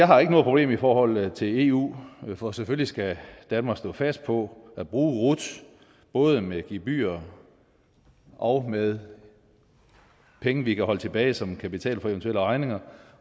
har noget problem i forhold til eu for selvfølgelig skal danmark stå fast på at bruge rut både med gebyrer og med penge vi kan holde tilbage som en kapital for eventuelle regninger